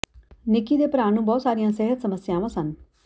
ਨਿੱਕੀ ਦੇ ਭਰਾ ਨੂੰ ਬਹੁਤ ਸਾਰੀਆਂ ਸਿਹਤ ਸਮੱਸਿਆਵਾਂ ਸਨ